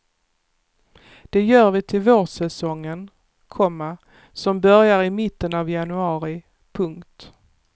Det gör vi till vårsäsongen, komma som börjar i mitten av januari. punkt